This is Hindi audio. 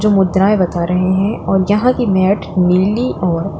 ये मुद्राए बता रहे हैं और यहां की मैट नीली और--